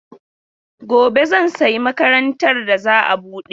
Gobe zan sayi makarantar da za a bude.